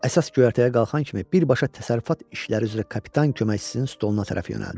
Əsas göyərtəyə qalxan kimi birbaşa təsərrüfat işləri üzrə kapitan köməkçisinin stoluna tərəf yönəldi.